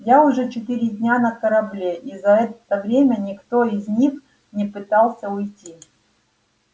я уже четыре дня на корабле и за это время никто из них не пытался уйти